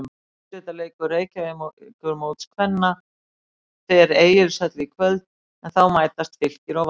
Úrslitaleikur Reykjavíkurmóts kvenna fer Egilshöll í kvöld en þá mætast Fylkir og Valur.